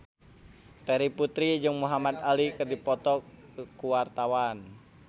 Terry Putri jeung Muhamad Ali keur dipoto ku wartawan